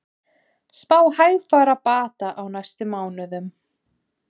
Spá hægfara bata á næstu mánuðum